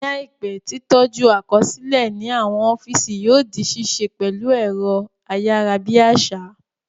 Ní àìpé, tí tọ́jú àkọsílẹ̀ ní àwọn ọ́físì yóò di ṣíṣe pẹ̀lú ẹ̀rọ ayárabíàṣá